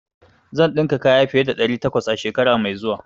Zan dinka kaya fiye da ɗari takwas a shekara mai zuwa.